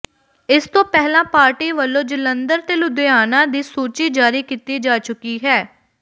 ਇਸ ਤੋਂ ਪਹਿਲਾਂ ਪਾਰਟੀ ਵਲੋਂ ਜਲੰਧਰ ਤੇ ਲੁਧਿਆਣਾ ਦੀ ਸੂਚੀ ਜਾਰੀ ਕੀਤੀ ਜਾ ਚੁੱਕੀ ਹੈ